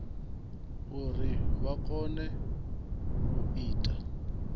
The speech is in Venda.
uri vha kone u ita